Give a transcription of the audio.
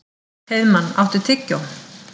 Heiðmann, áttu tyggjó?